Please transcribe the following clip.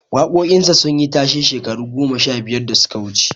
Waƙoƙin sa sun yi tashe shekaru goma sha biyar da suka wuce